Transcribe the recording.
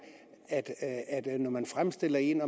at når man fremstiller en